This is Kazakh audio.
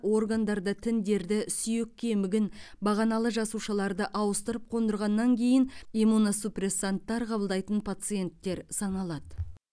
органдарды тіндерді сүйек кемігін бағаналы жасушаларды ауыстырып қондырғаннан кейін иммуносупрессанттар қабылдайтын пациенттер саналады